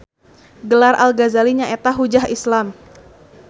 Gelar Al Gazali nyaeta Hujjah Islam